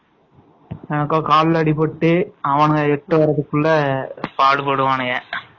அவனுக்கு கால்ல அடிபட்டு எடுத்துவரதுக்கு பாடுபடுவானுங்க